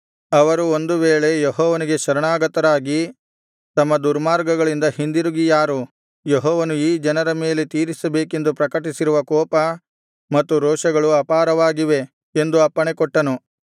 ಅವರು ಒಂದು ವೇಳೆ ಯೆಹೋವನಿಗೆ ಶರಣಾಗತರಾಗಿ ತಮ್ಮ ದುರ್ಮಾರ್ಗಗಳಿಂದ ಹಿಂದಿರುಗಿಯಾರು ಯೆಹೋವನು ಈ ಜನರ ಮೇಲೆ ತೀರಿಸಬೇಕೆಂದು ಪ್ರಕಟಿಸಿರುವ ಕೋಪ ಮತ್ತು ರೋಷಗಳು ಅಪಾರವಾಗಿವೆ ಎಂದು ಅಪ್ಪಣೆಕೊಟ್ಟನು